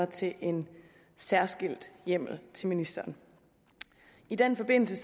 til en særskilt hjemmel til ministeren i den forbindelse